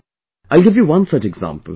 I'll give you one such example...